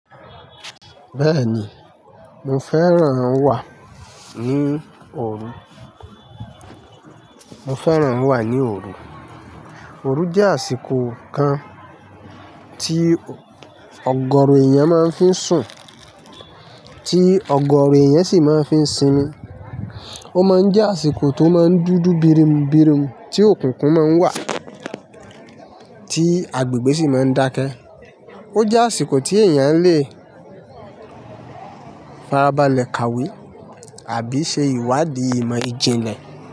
Bẹẹni mo fẹràn wa ni ooru, mo fẹràn wa ni ooru. Òru jẹ́ àsìkò kan tí ọ̀gọ̀rọ̀ èèyàn máa ń fi sùn, tí ọ̀gọ̀rọ̀ èèyàn sì máa ń fi sinmi. Ó máa ń jẹ́ àsìkò tó máa ń dúdú bírinbírin, tí òkùnkùn máa ń wà, tí agbègbè sì máa ń dákẹ́. Ó jẹ́ àsìkò tí èèyàn lè farabalẹ̀ kàwé àbí ṣe ìwádìí ìmọ̀ ìjìnlẹ̀.